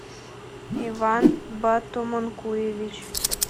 иван батомункуевич